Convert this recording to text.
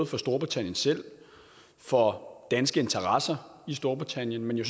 for storbritannien selv for danske interesser i storbritannien men jo